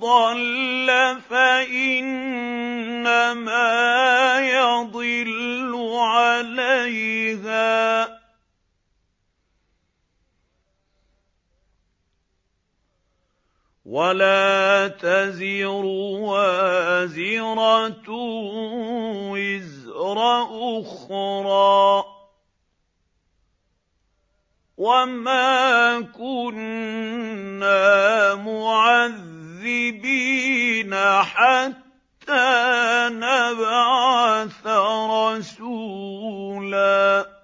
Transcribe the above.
ضَلَّ فَإِنَّمَا يَضِلُّ عَلَيْهَا ۚ وَلَا تَزِرُ وَازِرَةٌ وِزْرَ أُخْرَىٰ ۗ وَمَا كُنَّا مُعَذِّبِينَ حَتَّىٰ نَبْعَثَ رَسُولًا